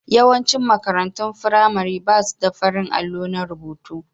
Yawaicin makarantun firamare ba su da farin allo na rubutu.